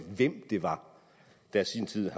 hvem det var der i sin tid